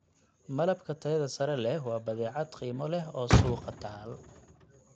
Malabka tayada sare leh waa badeecad qiimo leh oo suuqa taal.